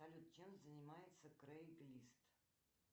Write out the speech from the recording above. салют чем занимается крейг лист